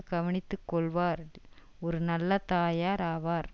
கவனித்து கொள்ளுவார் ஒரு நல்ல தாயார் ஆவார்